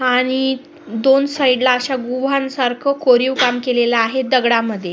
आणि दोन साईड ला अशा गुहांसारख कोरीव काम केलेलं आहे दगडामध्ये.